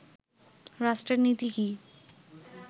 রাষ্ট্রের নীতি কি